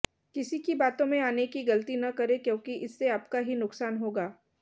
किसी की बातों में आने की गलती न करें क्योंकि इससे आपका ही नुकसान होगा